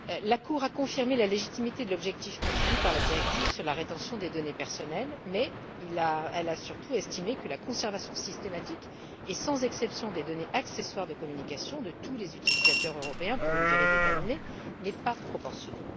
La Cour a confirmé la légitimité de l'objectif poursuivi par la directive sur la rétention des données personnelles, mais elle a surtout estimé que la conservation systématique et sans exception des données accessoires de communication de tous les utilisateurs européens pour une durée déterminée, n'est pas proportionnée.